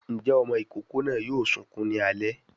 Ǹjẹ́ ọmọ ìkókó náà yóò sunkún ní alẹ́.